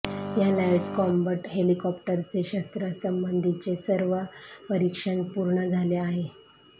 या light combat हेलिकॉप्टरचे शस्त्रांसंबंधीचे सर्व परीक्षण पूर्ण झाले आहे